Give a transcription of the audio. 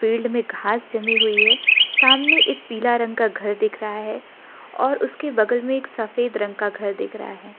Field में घास जमी हुई है सामने एक पीला रंग का घर दिख रहा है और उसके बगल में एक सफेद रंग का घर दिख रहा है।